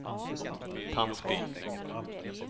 Tandsbyn